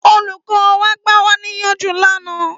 Ólúkọ̀ wà gbàwániyánjú làná